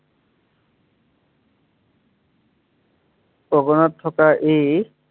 থকা ই